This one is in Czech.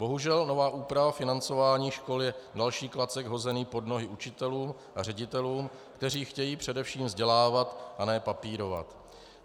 Bohužel, nová úprava financování školy je další klacek hozený pod nohy učitelům a ředitelům, kteří chtějí především vzdělávat a ne papírovat.